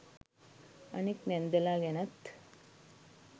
අනෙක් නැන්දලා ගැනත්